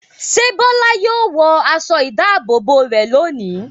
Ṣé Bọ́lá yóò wọ aṣọ-ìdáàbòbò rẹ̀ lónìí?